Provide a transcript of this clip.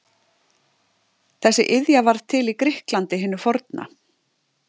þessi iðja varð til í grikklandi hinu forna